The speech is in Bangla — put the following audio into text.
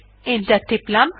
এন্টার টিপলাম